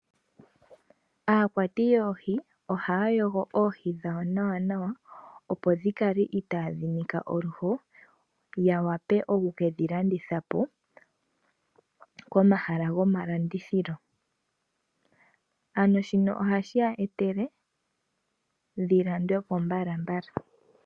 Aakwati yoohi ohaya yogo oohi dhawo nawa. Opo dhikale itaadhi nika oluho. Ya vule oku ke dhi landithapo komahala gomalandithilo ya mone iimaliwa.